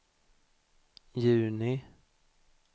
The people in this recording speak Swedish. juni